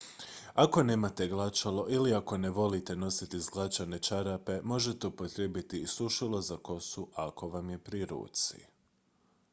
ako nemate glačalo ili ako ne volite nositi izglačane čarape možete upotrijebiti i sušilo za kosu ako vam je pri ruci